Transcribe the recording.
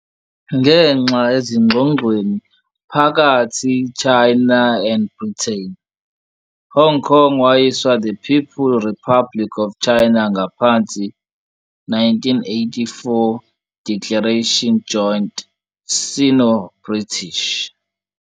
Ngenxa ezingxoxweni phakathi China and Britain, Hong Kong wayiswa the People Republic of China ngaphansi 1984 Declaration Joint Sino-British.